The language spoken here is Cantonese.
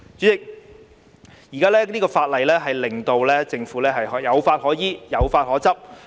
代理主席，這項《條例草案》令政府有法可依、有法可執。